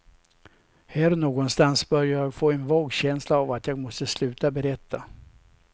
Här någonstans börjar jag få en vag känsla av att jag måste sluta berätta.